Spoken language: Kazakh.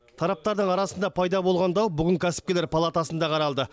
тараптардың арасында пайда болған дау бүгін кәсіпкерлер палатасында қаралды